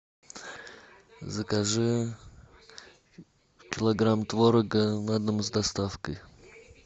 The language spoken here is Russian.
закажи килограмм творога на дом с доставкой